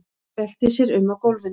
Veltir sér um á gólfinu.